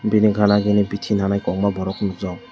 bini gana gini biti nanai kobokma nwgjago.